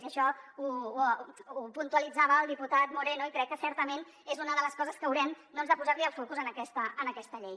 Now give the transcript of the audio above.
i això ho puntualitzava el diputat moreno i crec que certament és una de les coses que haurem de posar li el focus en aquesta llei